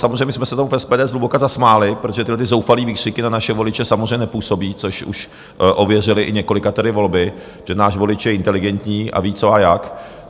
Samozřejmě jsme se tomu v SPD zhluboka zasmáli, protože tyto zoufalé výkřiky na naše voliče samozřejmě nepůsobí, což už ověřily i několikatery volby, že náš volič je inteligentní a ví, co a jak.